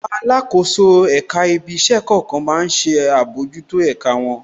Àwọn alákòóso èka ibí iṣẹ́ kọ̀ọ̀kan má ń ṣe àbójútó ẹ̀ka wọn.